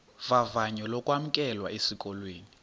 vavanyo lokwamkelwa esikolweni